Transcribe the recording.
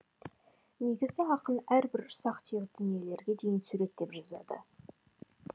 негізі ақын әрбір ұсақ түйек дүниелерге дейін суреттеп жазады